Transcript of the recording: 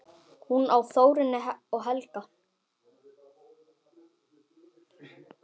Hún á Þórunni og Helga.